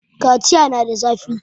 kaciya na da zafi